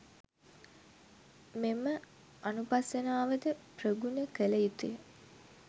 මෙම අනුපස්සනාව ද ප්‍රගුණ කළ යුතු ය.